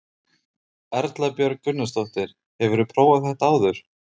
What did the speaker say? Erla Björg Gunnarsdóttir: Hefurðu prófað þetta áður?